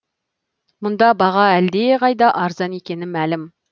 мұнда баға әлдеқайда арзан екені мәлім